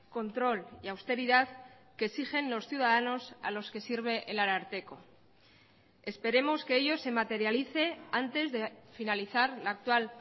control y austeridad que exigen los ciudadanos a los que sirve el ararteko esperemos que ello se materialice antes de finalizar la actual